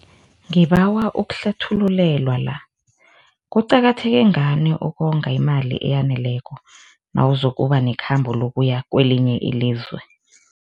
Ngibawa ukuhlathululelwa la, kuqakatheke ngani ukonga imali eyaneleko nakuzokuba nekhamba lokuya kwelinye ilizwe?